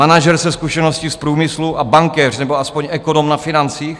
Manažer se zkušeností z průmyslu a bankéř nebo aspoň ekonom na financích?